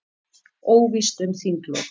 Óvíst um þinglok